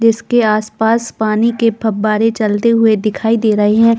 जिसके आस-पास पानी के फब्बारे चलते दिखाई दे रहे है।